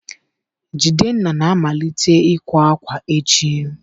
Jidenna na-amalite ịkwa akwa echi